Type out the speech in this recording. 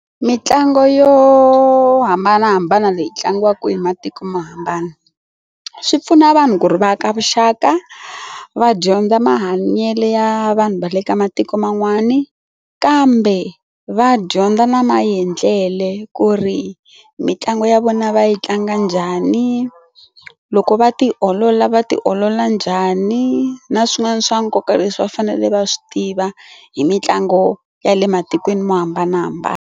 Mintlangu yo hambanahambana leyi tlangiwaka kwini matiko mo hambana swi pfuna vanhu ku ri va aka vuxaka va dyondza mahanyelo ya vanhu va le ka matiko man'wana kambe va dyondza na maendlele ku ri mitlangu ya vona va yi tlanga njhani loko va tiolola va tiolola njhani na swin'wana swa nkoka leswi va fanele va swi tiva hi mitlangu ya le matikweni mo hambanahambana.